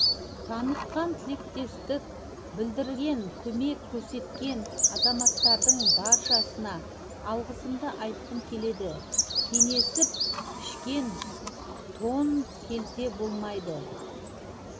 танытқан тілектестік білдірген көмек көрсеткен азаматтардың баршасына алғысымды айтқым келеді кеңесіп пішкен тон келте болмайды